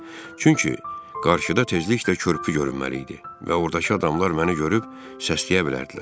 Çünki qarşıda tezliklə körpü görünməli idi və ordakı adamlar məni görüb səsləyə bilərdilər.